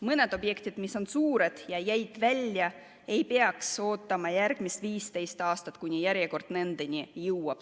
Mõned objektid, mis on suured ja jäid välja, ei peaks ootama järgmised 15 aastat, kuni järjekord nendeni jõuab.